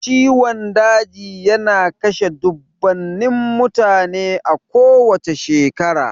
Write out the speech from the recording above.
Ciwon daji yana kashe dubbunnan mutane a kowacce shekara.